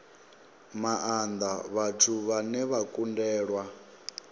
maanda vhathu vhane vha kundelwa